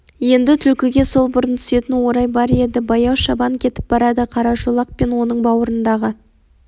енді түлкіге сол бұрын түсетін орай бар еді баяу шабан кетіп барады қарашолақ пен оның бауырындағы